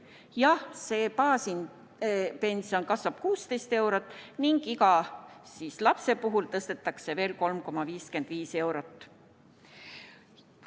Jah, see baaspension kasvab 16 eurot ning iga lapse puhul tõstetakse veel 3,55 eurot.